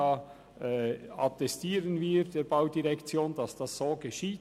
Wir attestieren der BVE, dass dies so geschieht.